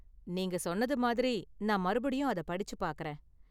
நீங்க சொன்னது மாதிரி, நான் மறுபடியும் அத படிச்சு பாக்கறேன்.